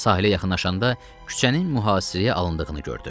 Sahilə yaxınlaşanda küçənin mühasirəyə alındığını gördü.